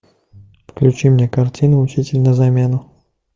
включи мне картину учитель на замену